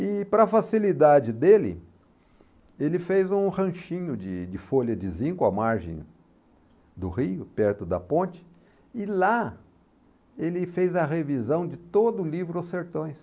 E para facilidade dele, ele fez um ranchinho de de folha de zinco à margem do rio, perto da ponte, e lá ele fez a revisão de todo o livro Os Sertões.